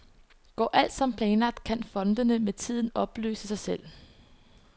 Går alt som planlagt kan fondene med tiden opløse sig selv.